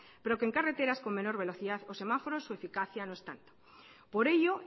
pero que en carreteras con menor velocidad o semáforos su eficacia no es tanto por ello